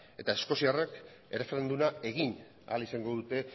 eta eskoziarrek erreferenduma egin ahal izango dute